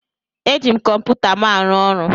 Eji m kọmputa m arụ ọrụ.